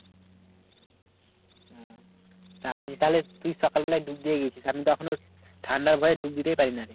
তা আজ কালে তুই সকালবেলায় ডুব দিয়ে গেছিস আমিতো এখনো ঠাণ্ডার ভয়ে ডুব দিতেই পারি নারে।